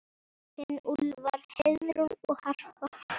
Þín Úlfar, Heiðrún og Harpa.